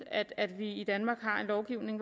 at vi i danmark har en lovgivning